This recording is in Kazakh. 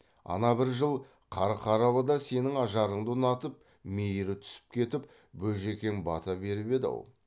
ана бір жыл қарқаралыда сенің ажарыңды ұнатып мейірі түсіп кетіп бөжікең бата беріп еді ау